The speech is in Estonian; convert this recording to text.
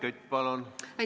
Helmen Kütt, palun!